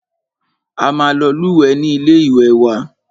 A máa lọ lúwẹ̀ẹ́ ní ilé ìwé wa.